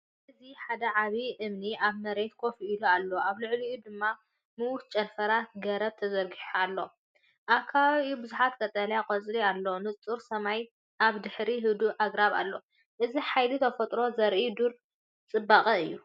እዚ ሓደ ዓቢ እምኒ ኣብ መሬት ኮፍ ኢሉ ኣሎ፣ ኣብ ልዕሊኡ ድማ ምዉት ጨንፈር ገረብ ተዘርጊሑ ኣሎ። ኣብ ከባቢኡ ብዙሕ ቀጠልያ ቆጽሊ ኣሎ፡ንጹር ሰማይን ኣብ ድሕሪት ህዱእ ኣግራብን ኣሎ። እዚ ሓይሊ ተፈጥሮ ዘርኢ ዱር ጽባቐ እዩ።